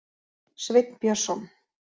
Sveinn Björnsson.